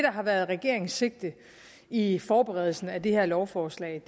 har været regeringens sigte i forberedelsen af det her lovforslag